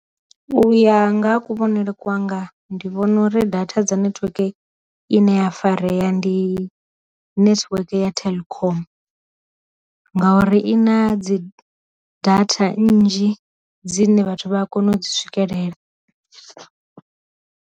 U ya nga ha ku vhonele kwanga ndi vhona uri data dza network i ne ya farea ndi network ya telkom, ngauri i na dzi data nnzhi dzine vhathu vha a kona u dzi swikelela.